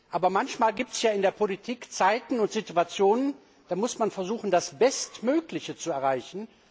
Aber manchmal gibt es in der Politik Zeiten und Situationen, da muss man versuchen, das Bestmögliche zu erreichen.